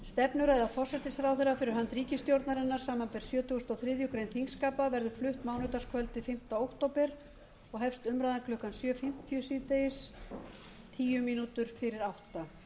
stefnuræða forsætisráðherra fyrir hönd ríkisstjórnarinnar samanber sjötugasta og þriðju greinar þingskapa verður flutt mánudagskvöldið fimmta október og hefst umræðan klukkan sjö fimmtíu síðdegis tíu mín fyrir átta